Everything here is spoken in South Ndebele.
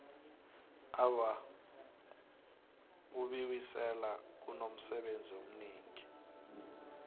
awa ubiwisela kunomsebenzi omningi